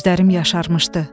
Gözlərim yaşarmışdı.